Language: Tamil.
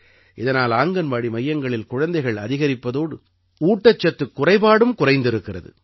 இதனால் ஆங்கன்வாடி மையங்களில் குழந்தைகள் அதிகரிப்பதோடு ஊட்டச்சத்துக் குறைபாடும் குறைந்திருக்கிறது